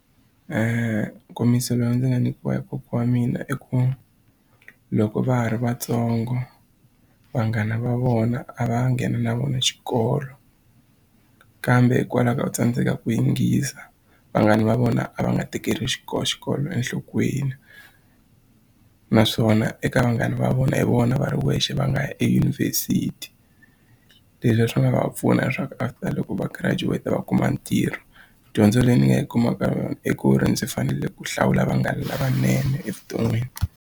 Nkomiso lowu ndzi nga nyikiwa hi kokwa wa mina i ku loko va ha ri vatsongo vanghana va vona a va nghena na vona xikolo kambe hikwalaho ka u tsandzeka ku yingisa vanghana va vona a va nga tekeli xikolo enhlokweni naswona eka vanghana va vona hi vona va ri wexe va nga ya eyunivhesiti leswi swi nga va pfuna leswaku after loko va girajuweta va kuma ntirho dyondzo leyi ni nga yi kumaka yona i ku ri ndzi fanele ku hlawula vanghana lavanene evuton'wini.